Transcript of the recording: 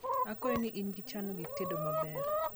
akwayo ni ingi ichano gik itedo maber